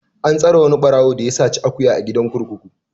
An tsare wani ɓarawo da ya saci akuya a gidan kurkuku.